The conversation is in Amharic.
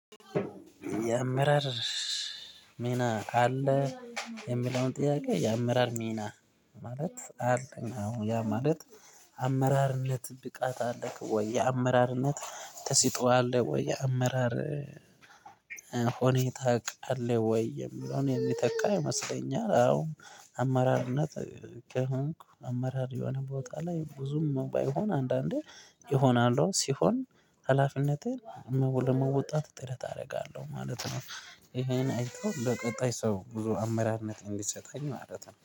የአምረር ሚና አለ የሚለውን ጥያቄ የአምረር ሚና ማለት አለኝ አሁን ያ ማለት አመራርነት ብቃት አለክ? ወይ አመራርነት ተስጦ አለ ወይ የአመራር ሆኔ ታውቃለህ ወይ? የሚለውን የሚተካ ይመስለኛል። አዎ አመራርነት ከሆንክ አመራር የሆነ ቦታ ላይ ብዙም ባይሆን አንዳንዴ ይሆናሉ ሲሆን ሀላፊነትህን ለመወጣት ጥረት አደርጋለሁ ማለት ነው። ይሄን አይቶ በቀጣይ ሰው ብዙ አመራርነት እንዲሰጣኝ ማለት ነው